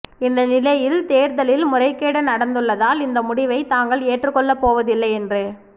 இந்த நிலையில் தேர்தலில் முறைகேடு நடந்துள்ளதால் இந்த முடிவை தாங்கள் ஏற்றுக்கொள்ள போவதில்லை என்று